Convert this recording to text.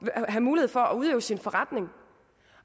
at have mulighed for at udøve sin forretning